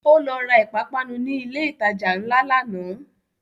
Ó lọ ra ìpápánu ni ilẹ̀ ìtajà ńlá lánàá